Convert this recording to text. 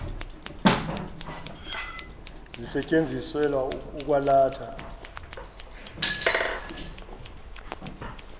zisetyenziselwa ukwa latha